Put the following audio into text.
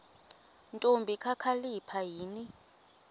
ntombi kakhalipha yini